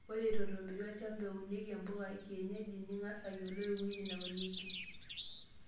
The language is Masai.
Ore eto etueitobiri olchamba ounieki mbuka ekienyeji, ning'as ayiolou eng'ueji naunieki.